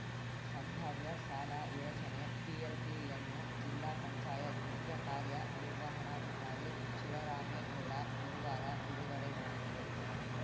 ಸಂಭಾವ್ಯ ಸಾಲ ಯೋಜನೆ ಪಿಎಲ್ಪಿಯನ್ನು ಜಿಲ್ಲಾ ಪಂಚಾಯತ್‌ ಮುಖ್ಯ ಕಾರ್ಯನಿರ್ವಹಣಾಧಿಕಾರಿ ಶಿವರಾಮೇಗೌಡ ಗುರುವಾರ ಬಿಡುಗಡೆ ಮಾಡಿದರು